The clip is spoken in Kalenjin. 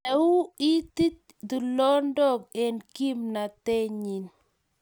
Nei u iti tulondok eng� kimnatenyim